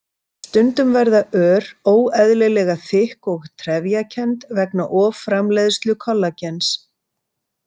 Stundum verða ör óeðlilega þykk og trefjakennd vegna offramleiðslu kollagens.